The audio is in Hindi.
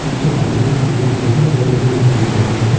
पीछे बालू का काफी ढ़ेर है बगल में गिट्टी का ढ़ेर है।